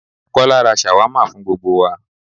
Kọ́lá ra ṣàwámà fún gbogbo wa